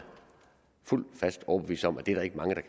fuldt og fast overbevist om at det er der ikke mange